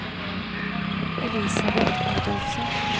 Elisabet Adolfsen